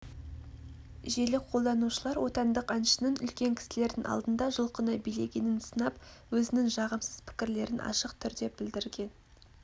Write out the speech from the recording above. желі қолданушылар отандық әншінің үлкен кісілердің алдында жұлқына билегенін сынап өзінің жағымсыз пікірлерін ашық түрде білдірген